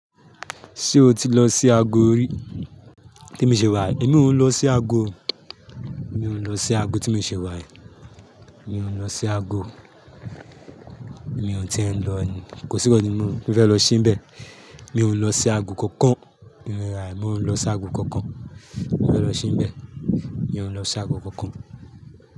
Ṣé o ti lọ sí agọ rí? Tè mi ṣe wà yì, èmi òún lọ sí agọ. Mi ó ń lọ sí agọ ti mi ṣe wà yì. Mi òún lọ sí agọ. Mi ò tí ì ń lọ ni, kò síkàn tí mo fẹ́ lọ síbẹ̀. Mi ó lọ sí agọ kankan. Bí mo rà è, mi ó lọ sí agọ kankan. Mo fẹ́ lọ se ń bẹ̀, mi ó lọ sí agọ kankan.